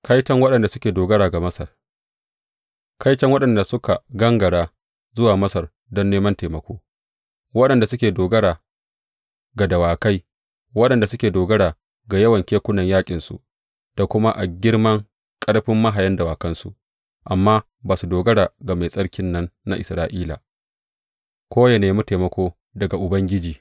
Kaiton waɗanda suke dogara ga Masar Kaiton waɗanda suka gangara zuwa Masar don neman taimako, waɗanda suke dogara ga dawakai, waɗanda suke dogara ga yawan kekunan yaƙinsu da kuma a girman ƙarfin mahayan dawakansu, amma ba sa dogara ga Mai Tsarkin nan na Isra’ila, ko ya nemi taimako daga Ubangiji.